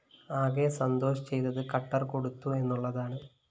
ആകെ സന്തോഷ് ചെയ്തത് കട്ടർ കൊടുത്തു എന്നുള്ളതാണ്